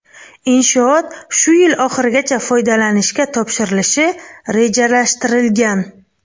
Inshoot shu yil oxirigacha foydalanishga topshirilishi rejalashtirilgan.